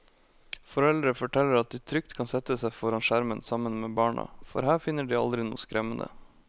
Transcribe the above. Foreldre forteller at de trygt kan sette seg foran skjermen sammen med barna, for her finner de aldri noe skremmende.